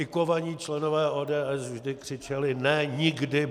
I kovaní členové ODS vždy křičeli: Ne, nikdy!